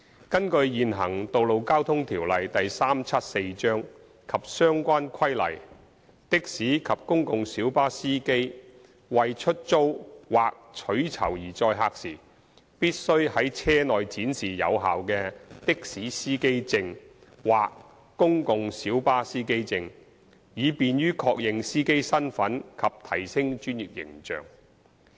根據現行《道路交通條例》及相關規例，的士及公共小巴司機為出租或取酬而載客時，必須在車內展示有效的的士司機證或公共小巴司機證，以便於確認司機身份及提升專業形象。